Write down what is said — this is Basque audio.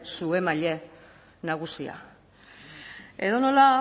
su emaile nagusia edonola